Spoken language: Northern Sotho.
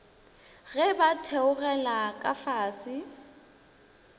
ge ba theogela ka fase